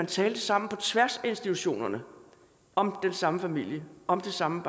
tale sammen på tværs af institutionerne om den samme familie og om det samme